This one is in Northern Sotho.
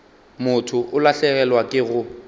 motho o lahlegelwa ke go